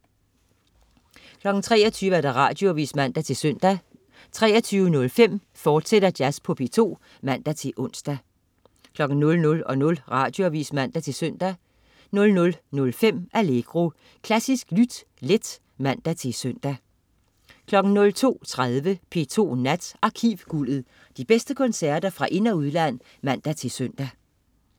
23.00 Radioavis (man-søn) 23.05 Jazz på P2, fortsat (man-ons) 00.00 Radioavis (man-søn) 00.05 Allegro. Klassisk lyt let (man-søn) 02.30 P2 Nat. Arkivguldet. De bedste koncerter fra ind- og udland (man-søn)